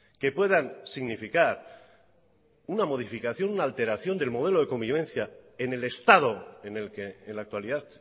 que puedan significar una modificación una alteración del modelo de convivencia en el estado en el que en la actualidad